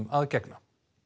að gegna